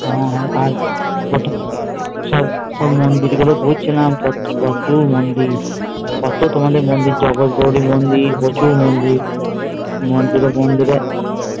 হ্যাঁ আর সব মন্দির গুলো পাচ্ছিলাম কত মন্দির কত তোমাদের মন্দির জগৎ গৌরী মন্দির কত মন্দির হম মন্দিরে মন্দিরে